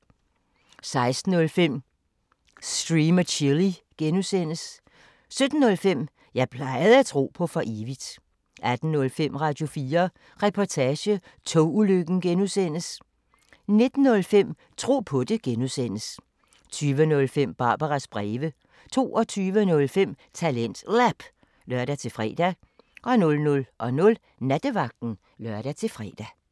16:05: Stream & Chill (G) 17:05: Jeg plejede at tro på for evigt 18:05: Radio4 Reportage: Togulykken (G) 19:05: Tro på det (G) 20:05: Barbaras breve 22:05: TalentLab (lør-fre) 00:00: Nattevagten (lør-fre)